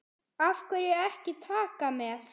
Af hverju ekki Taka með?